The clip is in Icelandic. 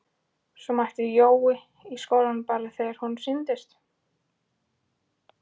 Svo mætti Jói í skólann bara þegar honum sýndist.